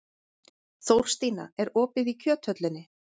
Þórstína, er opið í Kjöthöllinni?